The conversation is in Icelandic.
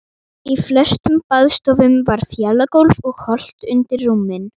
Í flestum baðstofum var fjalagólf og holt undir rúmin.